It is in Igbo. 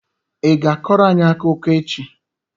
Ị ga-akọrọ anyị akụkọ echi?